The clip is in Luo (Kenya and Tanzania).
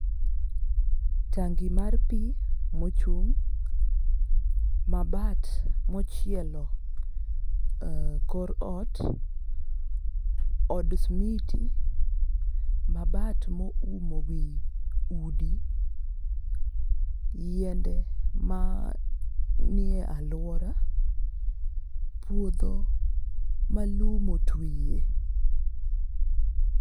Tangi mar pii mochung', mabat mochielo kor ot, od smiti, mabat moumo wii udi, yiende ma nie aluora, puodho malum otwiye.